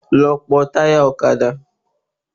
Lọ pọ́ táyà ọ̀kadà